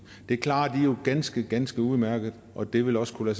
det klarer de jo ganske ganske udmærket og det ville også kunne